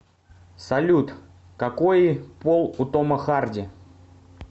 салют какои пол у тома харди